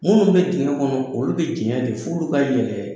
Munnu bɛ diŋɛ kɔnɔ olu bɛ diŋɛ de f'olu ka yɛlɛ